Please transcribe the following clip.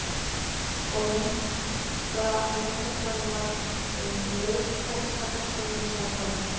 Og myndhöggvarinn varð um leið helsta persónan í samkvæminu.